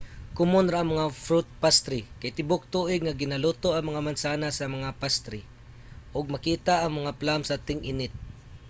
komun ra ang mga fruit pastry kay tibuok tuig nga ginaluto ang mga mansanas sa mga pastry ug makita ang mga plum sa ting-init